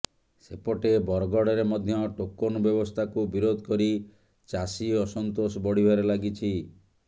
ସେପଟେ ବରଗଡରେ ମଧ୍ୟ ଟୋକନ ବ୍ୟବସ୍ଥାକୁ ବିରୋଧ କରି ଚାଷୀ ଅସନ୍ତୋଷ ବଢ଼ିବାରେ ଲାଗିଛି